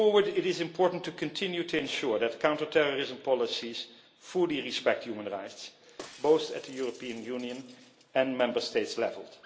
Moving forward, it is important to continue to ensure that counterterrorism policies fully respect human rights, both at the European Union and Member State levels.